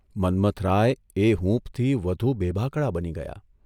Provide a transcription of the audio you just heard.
મન્મથરાય એ હૂંફથી વધુ બેબાકળા બની ગયા.